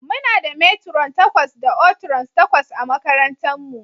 Muna da matron takwas da oatrons takwas a makarantarmu.